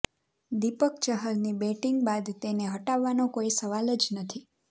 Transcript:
દીપક ચહરની બેટિંગ બાદ તેને હટાવવાનો કોઈ સવાલ જ નથી